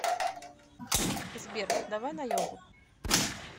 сбер давай на йогу